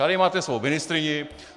Tady máte svou ministryni.